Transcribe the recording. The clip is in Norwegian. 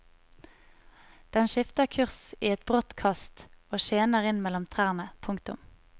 Den skifter kurs i et brått kast og skjener inn mellom trærne. punktum